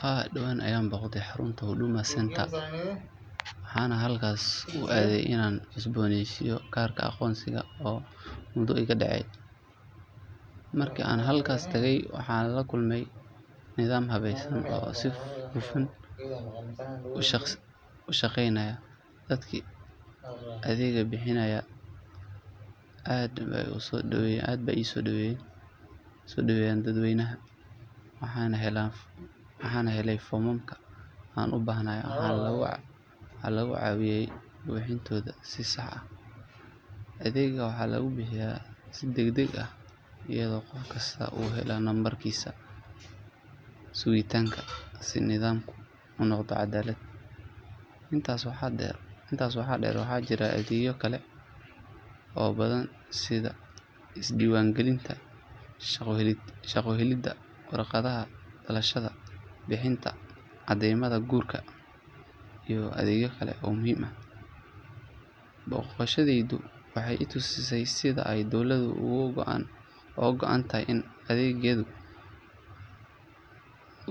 Haa dhawaan ayaan booqday xarunta Huduma Center waxaana halkaas u aaday inaan cusbooneysiiyo kaarka aqoonsiga oo muddo iga dhacay. Markii aan halkaas tegay waxaan la kulmay nidaam habaysan oo si hufan u shaqeynaya, dadkii adeegga bixinayayna aad bay u soo dhoweeyeen dadweynaha. Waxaan helay foomamka aan u baahnaa waxaana lagu caawiyay buuxintooda si sax ah. Adeegga waxaa lagu bixiyaa si degdeg ah iyadoo qof kastaa uu helayo nambarkiisa sugitaanka si nidaamku u noqdo cadaalad. Intaa waxaa dheer waxaa jira adeegyo kale oo badan sida isdiiwaangelinta shaqo, helidda warqadaha dhalashada, bixinta caddeymaha guurka iyo adeegyo kale oo muhiim ah. Boqoshadaydu waxay i tusisay sida ay dowladda uga go’an tahay inay adeegyada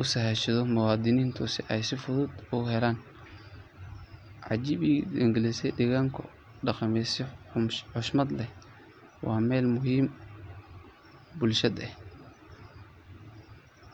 u sahasho muwaadiniinta si ay si fudud ugu helaan adeegyada dowladeed. Waxaa aad ii cajab geliyay sida uu adeeggu u deggenaa isla markaana qof walba loola dhaqmay si xushmad leh. Waa meel muhim u ah bulshada.